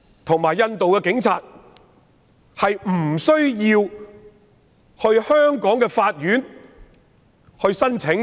他們必須向香港的法院申請。